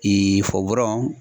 Ee fɔwurɔn